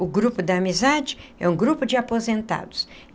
O Grupo da Amizade é um grupo de aposentados.